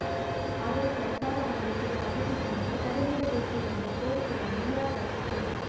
ಆದರೆ ಸರ್ಕಾರ ಹೊರಡಿಸಿರುವ ಅಧಿಸೂಚನೆಗೆ ತಡೆ ನೀಡಬೇಕು ಎಂಬ ಕೋರಿಕೆಯನ್ನು ನಿರಾಕರಿಸಿತು